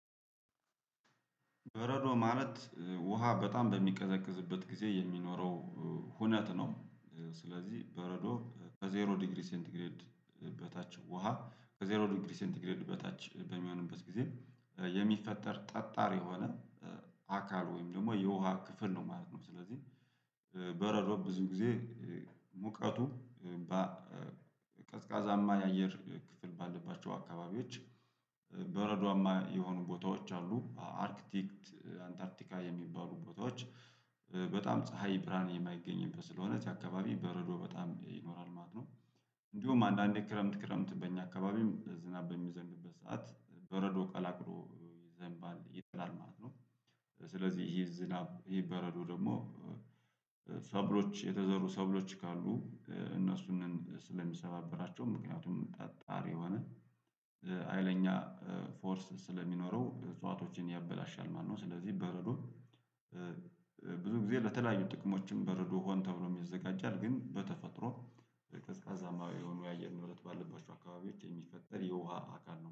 በረዶ ማለት ውሃ በጣም በሚቀዘቅዝበት ጊዜ የሚኖረው ሁነት ነው። ስለዚህ በረዶ ከዜሮ ዲግሪ ሴንትግሬድ በታች ውሃ ከዜሮ ዲግሪ ሴንትግሬድ በታች በሚሆንበት ጊዜ የሚፈጠር ጠጣር የሆነ አካል ወይም ደግሞ የውሃ ክፍል ነው ማለት ነው። ስለዚህ በረሮ ብዙ ጊዜ ሙቀቱ ቀዝቃዛማ የአየር ክፍል ባለባቸው አካባቢዎች በረዷማ የሆኑ ቦታዎች አሉ አርክቲክት አንታርቲካ የሚባሉ ቦታዎች በጣም ፀሀይ ብርሃን የማይገኝበት ስለሆነ እዛ አካባቢ በረዶ በጣም ይኖራል ማለት ነው። እንዲሁም አንዳንዴ ክረምት ክረምት በእኛ አካባቢም ዝናብ በሚዘንብበት ሰዓት በረዶ ቀላቅሎ ይዘንባል ይጥላል ማለት ነው። ስለዚህ ይሄ ዝናብ ይሄ በረዶ ደግሞ ሰብሎች የተዘሩ ሰብሎች ካሉ እነሱን ስለሚሰባበራቸውም ምክንያቱም ጠጣር የሆነ ሀይለኛ ፎርስ ስለሚኖረው እጽዋቶችን ያበላሻል ማለት ነው። ስለዚህ በረዶ ብዙ ጊዜ ለተለያዩ ጥቅሞችም በረዶ ሆን ተብሎም ይዘጋጃል ግን በተፈጥሮ በቀዝቃዛማው የሆኑ የአየር ንብረት ባለባቸው አካባቢዎች የሚፈጠር የውሃ አካል ነው